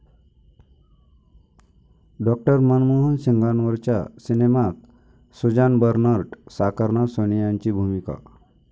डॉ. मनमोहन सिंगांवरच्या सिनेमात Suzanne Bernert साकारणार सोनियांची भूमिका